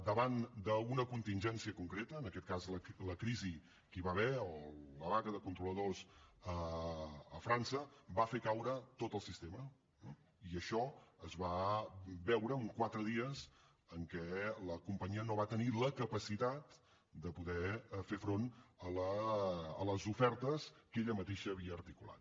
davant d’una contingència concreta en aquest cas la crisi que hi va haver o la vaga de controladors a frança va fer caure tot el sistema eh i això es va veure en quatre dies en què la companyia no va tenir la capacitat de poder fer front a les ofertes que ella mateixa havia articulat